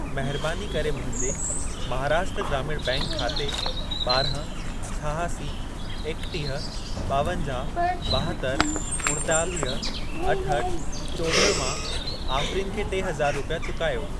महरबानी करे मुंहिंजे महाराष्ट्र ग्रामीण बैंक खाते ॿारहं, छहासी, एकटीह, ॿावंजाह, ॿाहतरि, उणेतालीह, अठहठि, चोॾहं मां आफ़रीन खे टे हज़ार रुपिया चुकायो।